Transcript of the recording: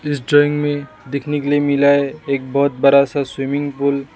इस जगह में देखने को मिला है एक बहुत बड़ा सा स्विमिंग पूल ।